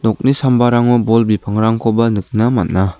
nokni sambarango bol bipangrangkoba nikna man·a.